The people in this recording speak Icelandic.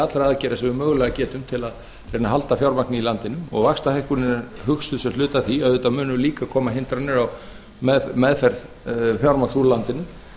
allra aðgerða sem við mögulega getum til að reyna að halda fjármagni í landinu og vaxtahækkunin er hugsuð sem hluti af því auðvitað munu líka koma hindranir á meðferð fjármagns úr landinu